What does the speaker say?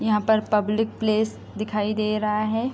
यहाँ पर public place दिखाई दे रहा है।